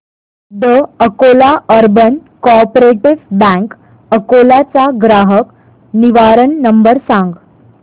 the Akola urban cooperative bank Akola चा ग्राहक निवारण नंबर सांग